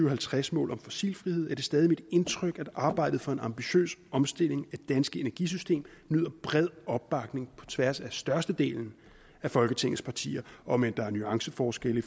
og halvtreds mål om fossilfrihed er det stadig mit indtryk at arbejdet for en ambitiøs omstilling af det danske energisystem nyder bred opbakning på tværs af størstedelen af folketingets partier om end der er nuanceforskelle i